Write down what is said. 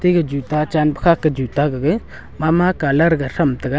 e juta chan pe kha ke juta gaga mama colour ga tham taga.